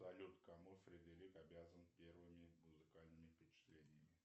салют кому фредерик обязан первыми музыкальными впечатлениями